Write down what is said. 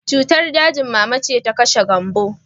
Cutar dajin mama ce ta kashe Gambo